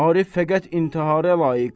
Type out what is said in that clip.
Arif fəqət intihara layiq.